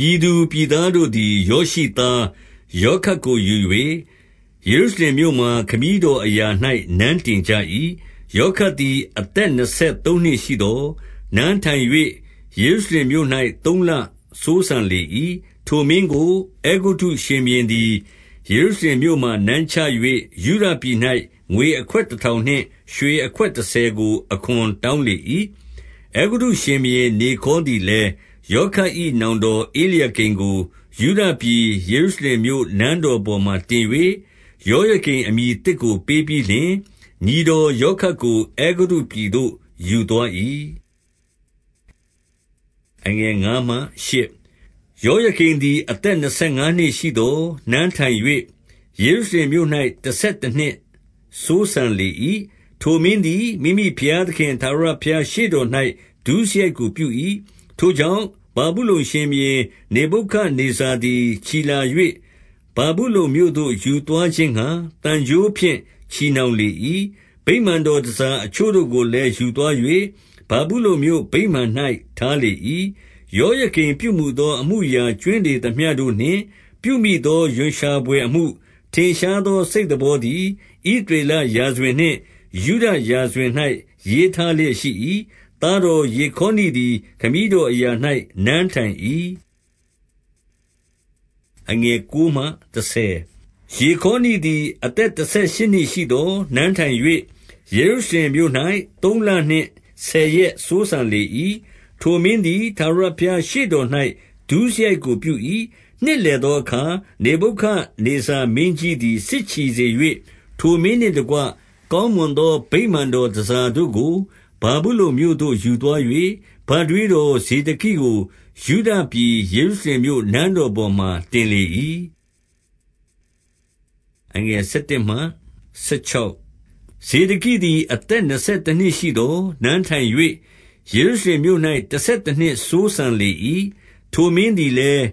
ပြည်သူပြည်သားတို့သည် ယောရှိသား ယော ခတ်ကို ယူ၍၊ ယေရုရှလင်မြို့မှာ ခမည်းတော်အရာ၌ နန်းတင်ကြ၏။ 2 ယောခတ်သည် အသက်နှစ်ဆယ်သုံးနှစ်ရှိသော်၊ နန်းထိုင်၍ ယေရုရှလင်မြို့၌ သုံးလစိုးစံလေ၏။ 3 ထိုမင်းကို အဲဂုတ္တုရှင်ဘုရင်သည် ယေရုရှလင် မြို့မှာ နန်းချ၍၊ ယုဒပြည်၌ ငွေအခွက်တထောင်နှင့် ရွှေအခွက်တဆယ်ကို အခွန်တောင်းလေ၏။ 4 အဲဂုတ္တုရှင်ဘုရင် နေခေါသည်လည်း၊ ယောခတ် ၏ နောင်တော်ဧလျာကိမ်ကို ယုဒပြည်ယေရုရှလင်မြို့ နန်းတော်ပေါ်မှာ တင်၍။ ယောယကိမ်အမည်သစ်ကို ပေးပြီးလျှင်၊ ညီတော်ယောခတ်ကို အဲဂုတ္တုပြည်သို့ ယူသွား၏။ 5 ယောယကိမ်သည် အသက်နှစ်ဆယ်ငါးနှစ် ရှိသော်၊ နန်းထိုင်၍ ယေရုရှလင်မြို့၌ တဆယ်တနှစ်စိုးစံ လေ၏။ ထိုမင်းသည် မိမိဘုရားသခင် ထာဝရဘုရား ရှေ့တော်၌ ဒုစရိုက်ကိုပြု၏။ 6 ထိုကြောင့်၊ ဗာဗုလုန်ရှင်ဘုရင် နေဗုခဒ်နေဇာ သည် ချီလာ၍၊ ဗာဗုလုန်မြို့သို့ယူသွားခြင်းငှါ၊ သံကြိုးဖြင့် ချည်နှောင်လေ၏။ 7 ဗိမာန်တော်တန်ဆာ အချို့တို့ကိုလည်း ယူသွား ၍၊ ဗာဗုလုန်မြို့ ဗိမာန်၌ ထားလေ၏။ 8 ယောယကိမ်ပြုမူသော အမှုအရာ ကြွင်းလေ သမျှတို့နှင့် ပြုမိသော ရွံရှာဘွယ်အမှု၊ ထင်ရှာသော စိတ်သဘောသည်၊ ဣသရေလရာဇဝင်နှင့် ယုဒရာဇဝင်၌ ရေးထားလျက်ရှိ၏။ သားတော်ယေခေါနိသည် ခမည်းတော်အရာ၌ နန်းထိုင်၏။ 9 ယေခေါနိသည် အသက်တဆယ်ရှစ်နှစ်ရှိသော် နန်းထိုင်၍ ယေရုရှလင်မြို့၌ သုံးလနှင့် ဆယ်ရက်စိုးစံ လေ၏။ ထိုမင်းသည် ထာဝရဘုရားရှေ့တော်၌ ဒုစရိုက် ကိုပြု၏။ 10 နှစ်လည်သောအခါ၊ နေဗုခဒ်နေဇာမင်းကြီး သည် စစ်ချီစေ၍၊ ထိုမင်းနှင့်တကွ ကောင်းမွန်သော ဗိမာန်တော်တန်ဆာတို့ကို ဗာဗုလုန်မြို့သို့ ယူသွား၍၊ ဘထွေးတော် ဇေဒကိကို၊ ယုဒပြည် ယေရုရှလင်မြို့ နန်းတော်ပေါ်မှာ တင်လေ၏။ 11 ဇေဒကိသည် အသက်နှစ်ဆယ်တနှစ်ရှိသော်၊ နန်းထိုင်၍ ယေရုရှလင်မြို့၌ တဆယ်တနှစ်စိုးစံလေ၏။ 12 ထိုမင်းသည်လည်း